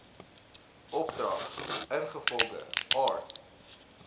opdrag ingevolge art